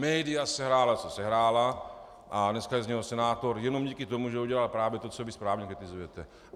Média sehrála, co sehrála, a dneska je z něho senátor jenom díky tomu, že udělal právě to, co vy správně kritizujete.